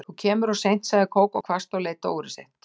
Þú kemur of seint sagði Kókó hvasst og leit á úrið sitt.